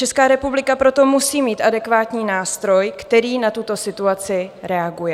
Česká republika proto musí mít adekvátní nástroj, kterým na tuto situaci reaguje.